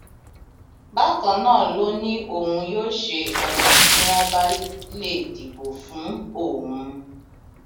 bákan náà ló ní òun yóò ṣe ọnà tí wọn bá lè dìbò fún òun